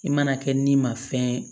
I mana kɛ ni ma fɛn ye